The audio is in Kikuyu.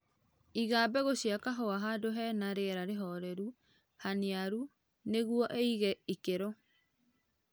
Iga mbegũ cia kahũa handũ hena rĩera rĩholelu, haniaru nĩguo ĩige ikĩro